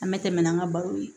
An bɛ tɛmɛ n'an ka baro ye